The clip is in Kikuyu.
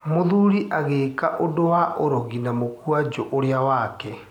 Mũthuri agĩĩka ũndũ wa ũrogi na mũkwanjũ ũrĩa wake.